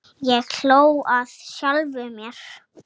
Ég hló að sjálfum mér.